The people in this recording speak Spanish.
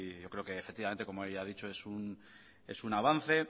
yo creo que como ella ha dicho es un avance